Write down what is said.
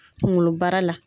Kuŋolobara la